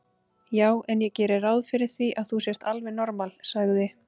Já en ég geri ráð fyrir því að þú sért alveg normal, sagði